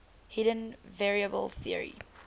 hidden variable theory